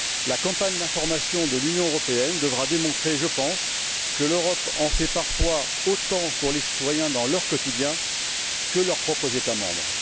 La campagne d'information de l'Union européenne devra démontrer, je pense, que l'Europe en fait parfois autant pour les citoyens dans leur quotidien que leurs propres États membres.